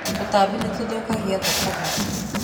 Tũtambi nĩ tũthũkagia thũkũma.